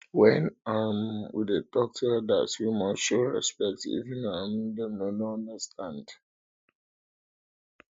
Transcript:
when um we dey talk to elders we must show um respect even if um dem no understand